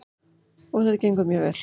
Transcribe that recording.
Og þetta gengur mjög vel.